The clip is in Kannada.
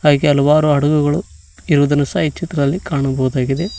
ಹಾಗೆ ಹಲವಾರು ಹಡಗುಗಳು ಇರುವುದನ್ನು ಸಹ ಈ ಚಿತ್ರದಲ್ಲಿ ಕಾಣಬಹುದಾಗಿದೆ.